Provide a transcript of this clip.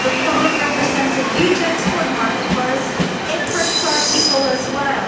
The Republic represents a huge export market for us, so this crisis hurts our people as well.